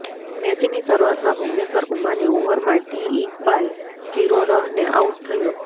મેચની શરુઆતમાં ભૂવનેશ્વર કુમારની ઓવરમાં ટી ઈકબાલ ઝીરો રહને આઉટ થયો